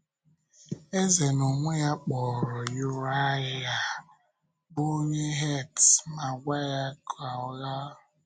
Eze n’onwe ya kpọrọ Yùráyà bụ́ onye Hẹ́t, ma gwa ya ka ọ lāa.